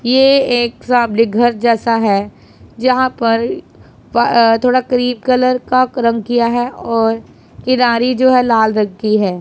ये एक साबलीक घर जैसा है जहां पर अह थोड़ा क्रीम कलर का किया है और किनारी जो है लाल रंग की है।